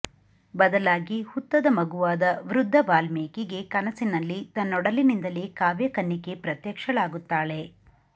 ಬದಲಾಗಿ ಹುತ್ತದ ಮಗುವಾದ ವೃದ್ಧ ವಾಲ್ಮೀಕಿಗೆ ಕನಸಿನಲ್ಲಿ ತನ್ನೊಡಲಿನಿಂದಲೇ ಕಾವ್ಯಕನ್ನಿಕೆ ಪ್ರತ್ಯಕ್ಷಳಾಗುತ್ತಾಳೆ